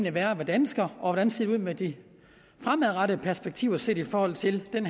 at være dansker og hvordan det ser ud med de fremadrettede perspektiver set i forhold til den